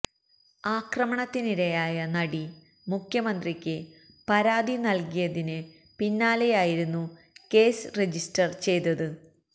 ആക്രമണത്തിനിരയായ നടി മുഖ്യമന്ത്രിക്ക് പരാതി നല്കിയതിന് പിന്നാലെയായിരുന്നു കേസ് രജിസ്റ്റര് ചെയ്തത്